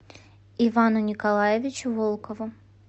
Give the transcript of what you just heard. ивану николаевичу волкову